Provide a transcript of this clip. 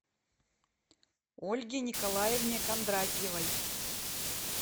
ольге николаевне кондратьевой